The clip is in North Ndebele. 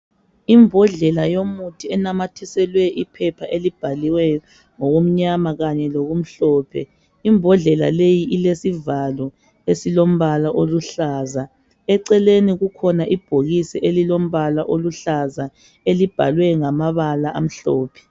Imbodlela yomuthi enamathiselwe iphepha elibhaliweyo ngokumnyama kanye lokumhlophe imbodlela leyi ilesivalo esilombala oluhlaza eceleni kukhona ibhokisi elilombala oluhlaza elibhalwe ngamabala amhlophe .